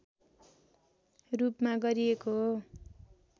रूपमा गरिएको हो